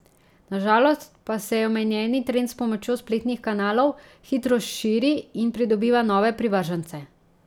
Na žalost pa se omenjeni trend s pomočjo spletnih kanalov hitro širi in pridobiva nove privržence.